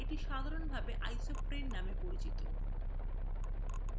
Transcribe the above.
এটি সাধারণভাবে isoprene নামে পরিচিত